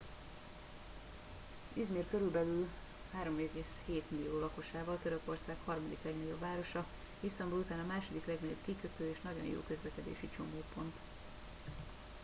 i̇zmir körülbelül 3,7 millió lakosával törökország harmadik legnagyobb városa isztambul után a második legnagyobb kikötő és nagyon jó közlekedési csomópont